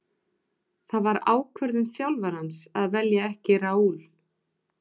Það var ákvörðun þjálfarans að velja ekki Raul.